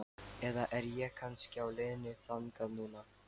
Eða er ég kannski á leiðinni þangað núna?